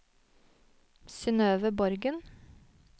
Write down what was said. Synnøve Borgen